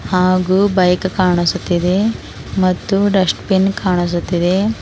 ಹಾಗು ಬೈಕ್ ಕಾಣಿಸುತ್ತಿದೆ ಮತ್ತು ಡಸ್ಟ್ ಬಿನ್ ಕಾಣಿಸುತ್ತಿದೆ.